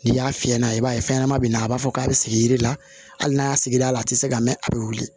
N'i y'a fiyɛ n'a ye i b'a fɛn ɲɛnama be yen nɔ a b'a fɔ k'a be sigi yiri la hali n'a y'a sigi a la a te se ka mɛ a bɛ wuli